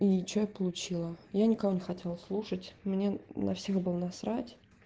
и что я получила я никого не хотела слушать мне на всех было насрать